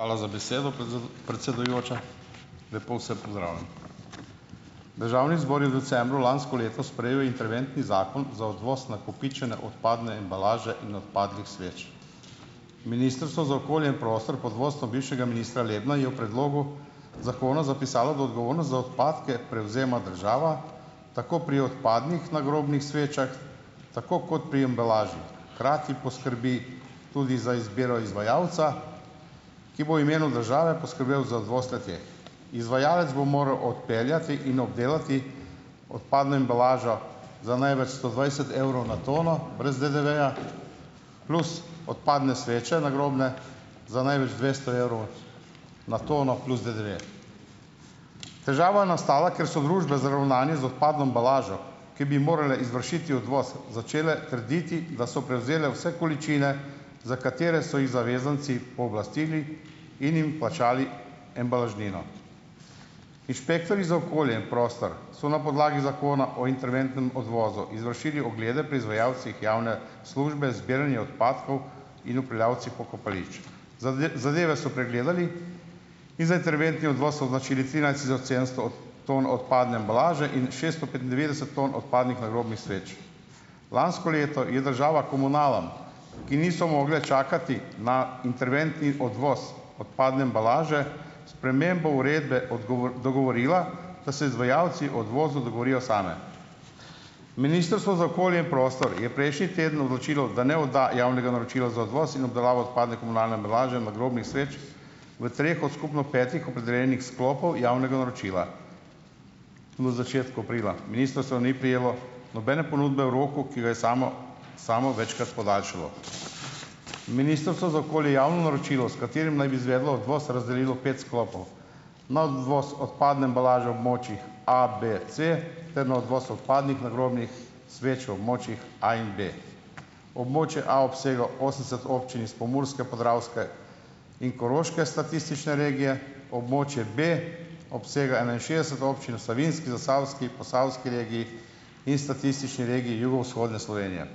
Hvala za besedo, predsedujoča. Lepo vse pozdravljam! Državni zbor je decembra lansko leto sprejel interventni zakon za odvoz nakopičene odpadne embalaže in odpadnih sveč. Ministrstvo za okolje in prostor pod vodstvom bivšega ministra Lebna je v predlogu zakona zapisalo, da odgovornost za odpadke prevzema država, tako pri odpadnih nagrobnih svečah, tako kot pri embalaži. Hkrati poskrbi tudi za izbiro izvajalca, ki bo imenu države poskrbel za odvoz le-te. Izvajalec bo moral odpeljati in obdelati odpadno embalažo za največ sto dvajset evrov na tono brez DDV-ja, plus odpadne sveče nagrobne za največ dvesto evrov na tono plus DDV. Težava nastala, ker so družbe z ravnanjem z odpadno embalažo, ki bi morale izvršiti odvoz, začele trditi, da so prevzele vse količine, za katere so jih zavezanci pooblastili in jim plačali embalažnino. Inšpektorji za okolje in prostor so na podlagi zakona o interventnem odvozu izvršili oglede pri izvajalcih javne službe zbiranja odpadkov in upravljavci pokopališč. zadeve so pregledali in za interventni odvoz označili trinajst tisoč sedemsto ton odpadne embalaže in šeststo petindevetdeset ton odpadnih nagrobnih sveč. Lansko leto je država komunalam, ki niso mogle čakati na interventni odvoz odpadne embalaže, spremembo uredbe dogovorila, da se izvajalci o odvozu dogovorijo sami. Ministrstvo za okolje in prostor je prejšnji teden odločilo, da ne odda javnega naročila za odvoz in obdelavo odpadne komunalne embalaže, nagrobnih sveč v treh od skupno petih opredeljenih sklopov javnega naročila v začetku aprila. Ministrstvo ni prejelo nobene ponudbe v roku, ki a je samo samo večkrat podaljšalo. Ministrstvo za okolje javno naročilo, s katerim naj bi izvedlo odvoz, razdelilo pet sklopov: na odvoz odpadne embalaže območjih A, B, C, ter na odvoz odpadnih nagrobnih sveč v območjih A in B. Območje A obsega osemdeset občin iz Pomurske, Podravske in Koroške statistične regije, območje B obsega enainšestdeset občin v Savinjski, Zasavski, Posavski regiji in statistični regiji jugovzhodne Slovenije.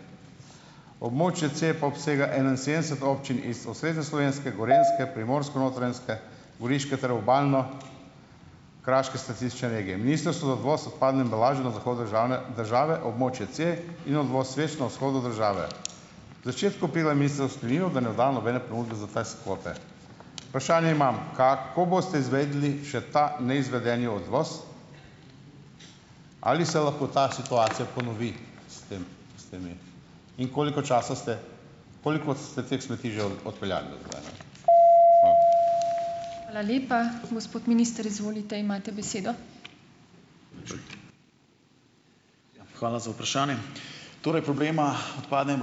Območje C pa obsega enainsedemdeset občin iz osrednjeslovenske, gorenjske, primorsko-notranjske, goriške ter obalno- kraške statistične regije. Ministrstvo za odvoz odpadne embalaže na zahodu državne države območje C in odvoz sveč na vzhodu države. Začetku da ne odda nobene ponudbe za te kvote. Vprašanje imam: Ka, ko boste izvedli še ta neizvedeni odvoz? Ali se lahko ta situacija ponovi in koliko časa ste, koliko ste teh smeti že odpeljali ...